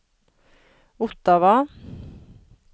Ottawa